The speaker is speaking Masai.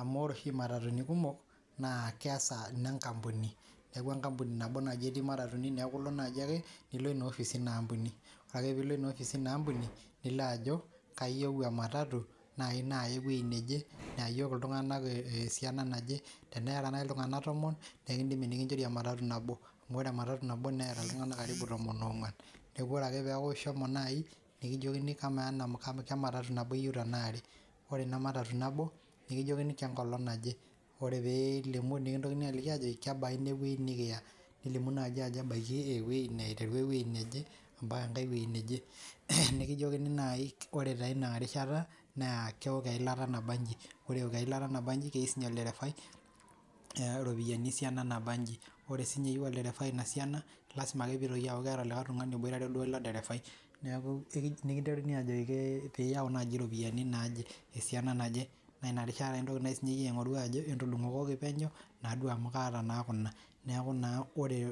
amu oree oshiie imatatuni kumok naa keesa inenkampuni neeku enkampuni nabo naaji nenaa matatuni neeku ilo naaji ake nilo ina office ina kampuni oree ake piilo ina office eina kampuni nilo ajo kayieu ematatu nayii naya eweji neje neeyayioki iltung'anak esiana naje tenera nayii iltung'anak tomon nekindimi nekinchori ematatu naboo amu ore ematatu Neeta iltung'anak tomon oong'wan neeku ore ake peeku ishomo nayii nikijokini kemaatatu nabo iyieu tenaa are oree nayii inamatatu nabo nikijokini kenkolong' naje oree pee ilimu nekintokini aaliki aajoiki kebaa inewei nikiya nilimu naa ajo ebaiki ewi aiteru ewei neje ampaka ewei neje nikijokini naai oree taa ina rishata naa keok eilata nabanji ore eok eilata naa banji naa keyieu sinye olderefai iropiyiani esiana nabanji oree sinye eyieu olderefai ina siana lasima ake peitoki aaku keeta likae tung'ani oboitare duo ilo derefai neeku nikinteruni aajoki piyau naji iropiyiani naaje esiana naje naa ina rishata eintoki naa naji iye ajo entudung'okoki penyo naa duo amu kaata naa Kuna neeku naa oree